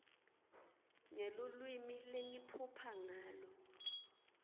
ngelulwimi lengiphupha ngalo